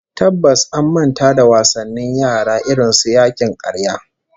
Tabbas an manta da wasannin yara irin su yakin karya